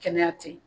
Kɛnɛya tɛ ye